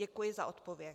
Děkuji za odpověď.